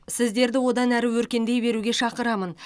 сіздерді одан әрі өркендей беруге шақырамын